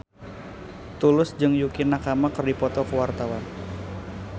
Tulus jeung Yukie Nakama keur dipoto ku wartawan